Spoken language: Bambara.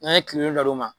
N'an ye kile naani d'o ma